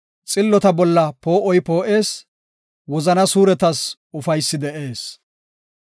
Xillota bolla poo7oy poo7ees; wozana suuretas ufaysi de7ees.